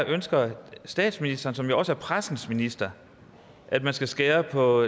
ønsker statsministeren som jo også er pressens minister at man skal skære på